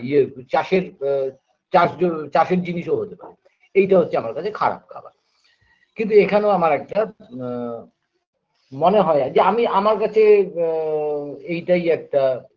ইয়ে আ চাষের আ চাষ যো চাষের জিনিসও হতে পারে এইটা হচ্ছে আমার কাছে খারাপ খাবার কিন্তু এখানেও আমার একটা ম মনে হয় যে আমি আমার কাছে আ এইটাই একটা